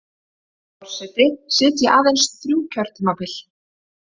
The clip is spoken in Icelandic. Forseti sitji aðeins þrjú kjörtímabil